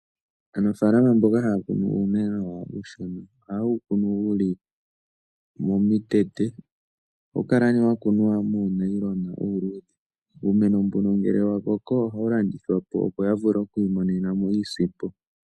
Aanafalama mboka haya kunu uumeno wawo uushona ohaye wu kunu wu li momikweyo. Ohawu kala nee wa kunwa muunayilona uuluudhe. Uumeno mbuno ngele wa koko ohawu landithwa po, opo ya vule oku imonena mo iisimpo.